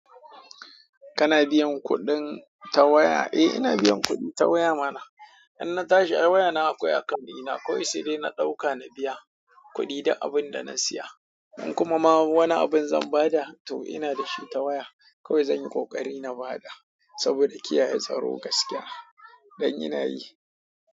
Kana biyan kuɗin ta waya? Eh, ina biyan kuɗi ta waya mana. Idan na tashi a waya na akwai account ina, kawai sai dai na ɗauka na biya kuɗi da abin da na siya. In kuma ma wani abin zan ba da, to ina da shi ta waya. Kawai zan yi ƙoƙari na ba da, saboda kiyaye tsaro gaskiya don ina yi.